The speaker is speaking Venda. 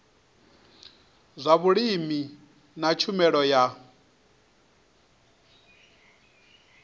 zwa vhulimi na tshumelo ya